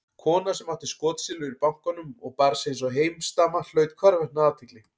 Kona sem átti skotsilfur í bankanum og bar sig einsog heimsdama hlaut hvarvetna athygli.